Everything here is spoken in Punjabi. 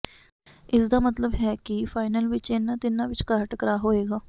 ਇਸਦਾ ਮਤਲਬ ਇਹ ਹੈ ਕਿ ਫਾਈਨਲ ਵਿਚ ਇਨ੍ਹਾਂ ਤਿੰਨਾਂ ਵਿਚਕਾਰ ਟਕਰਾਅ ਹੋਏਗਾ